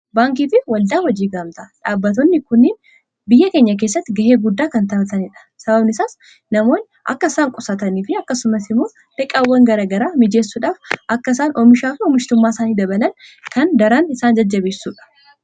Baankii fi waldaa hojii gaamtaadha. Dhaabbatoonni kunniin biyya keenya keessatti ga'ee guddaa kan taphatanidha. Sababani isaas namoonni akka isaan qusataniifi akkasumas immoo liqaawwan garaa garaa mijeessuudhaaf akka isaan oomishaafi oomishtummaa isaanii dabalan kan daran isaan jajjabeessudha.